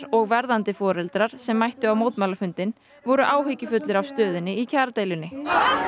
og verðandi foreldrar sem mættu á mótmælafundinn voru áhyggjufullir yfir stöðunni í kjaradeilunni